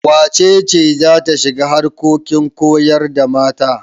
Wace ce za ta shiga harkokin koyar da mata?